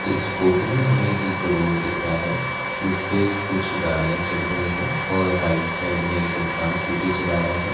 इस फोटो में हमें एक रोड दिख रहा है जिस पे कुछ गाड़िया चल रही है और राइट साइड में एक इंसान स्कूटी चला रहा है।